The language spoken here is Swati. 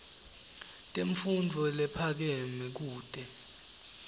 temfundvo lephakeme kute